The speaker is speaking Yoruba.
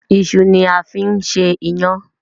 Iṣu ni a fi ń ṣe iyán.